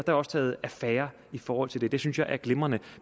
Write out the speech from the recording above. er også taget affære i forhold til det det synes jeg er glimrende